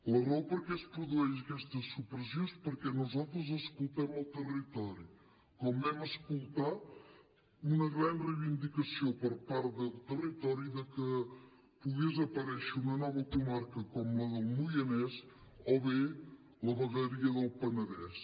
la raó per la qual es produeix aquesta supressió és perquè nosaltres escoltem el territori com vam escoltar una gran reivindicació per part del territori que pogués aparèixer una nova comarca com la del moianès o bé la vegueria del penedès